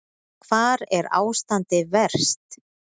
Hvar er ástandið verst?